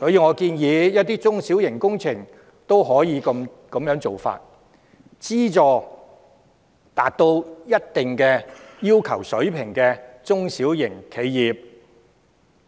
我建議對於一些中小型工程，政府亦可這樣做，資助達到一定水平要求的中小企，